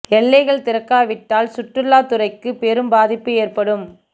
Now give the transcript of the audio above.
எல்லைகள் திறக்காவிட்டால் சுற்றுலாத்துறைக்கு பெரும் பாதிப்பு ஏற்படும்